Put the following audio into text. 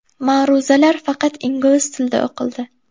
Ma’ruzalar faqat ingliz tilida o‘qildi.